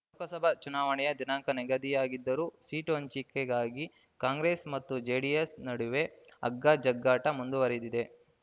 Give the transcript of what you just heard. ಲೋಕಸಭಾ ಚುನಾವಣೆಯ ದಿನಾಂಕ ನಿಗದಿಯಾಗಿದ್ದರೂ ಸೀಟು ಹಂಚಿಕೆಗಾಗಿ ಕಾಂಗ್ರೆಸ್ ಮತ್ತು ಜೆಡಿಎಸ್ ನಡುವೆ ಹಗ್ಗ ಜಗ್ಗಾಟ ಮುಂದುವರೆದಿದೆ